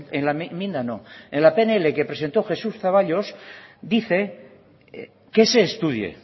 en la pnl que presentó jesús zaballos dice que se estudie